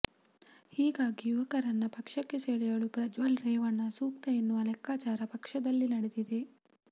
ಹೀಗಾಗಿ ಯುವಕರನ್ನ ಪಕ್ಷಕ್ಕೆ ಸೆಳೆಯಲು ಪ್ರಜ್ವಲ್ ರೇವಣ್ಣ ಸೂಕ್ತ ಎನ್ನುವ ಲೆಕ್ಕಾಚಾರ ಪಕ್ಷದಲ್ಲಿ ನಡೆದಿದೆ